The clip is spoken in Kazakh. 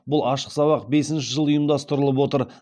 бұл ашық сабақ бесінші жыл ұйымдастырылып отыр